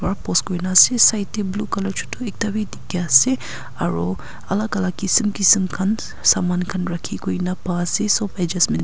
aru post kurina ase side te blue colour chotu ekta bi dikhiase aru alak alak kisim kisim khan saman khan rakhi kuina paa ase sob adjustment .